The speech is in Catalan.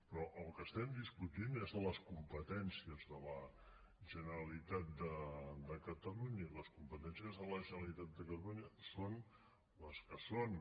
però el que estem discutint és sobre les competències de la generalitat de catalunya i les competències de la generalitat de catalunya són les que són